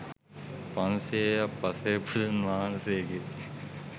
පන්සියයක් පසේ බුදුන් වහන්සේගේ